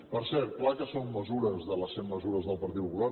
per cert clar que són mesures de les cent mesures del partit popular